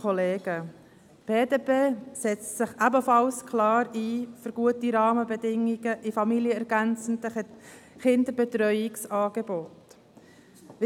Die BDP setzt sich ebenfalls klar für gute Rahmenbedingungen in familienergänzenden Kinderbetreuungsangeboten ein.